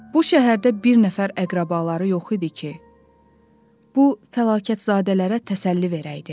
Bu şəhərdə bir nəfər əqrəbaları yox idi ki, bu fəlakətzadələrə təsəlli verəydi.